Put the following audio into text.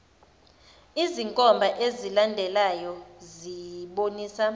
izinkomba ezilandelayo zibonisa